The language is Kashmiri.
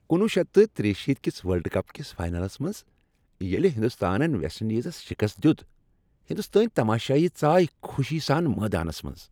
کنُوُہ شیٚتھ تہٕ تریہِ شیٖتھ کِس ورلڈ کپ کِس فاینلس منٛز ییٚلہِ ہنٛدستانن ویسٹ انڈیزس شکست دیُت، ہندوستٲنۍ تماشٲیی ژایِہ خوشی سان میدانس منٛز۔